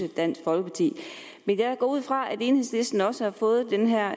dansk folkeparti men jeg går ud fra at enhedslisten også har fået det her